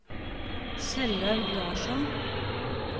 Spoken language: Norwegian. Kjellaug Larsson